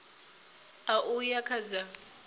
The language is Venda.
ṋ a uya kha dza